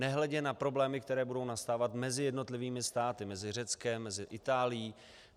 Nehledě na problémy, které budou nastávat mezi jednotlivými státy, mezi Řeckem, mezi Itálií.